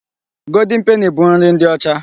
Goldin peni bụ nri ndị ọcha.